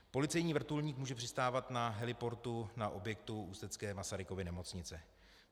Policejní vrtulník může přistávat na heliportu na objektu ústecké Masarykovy nemocnice.